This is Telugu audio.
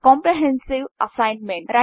comprehensive assignment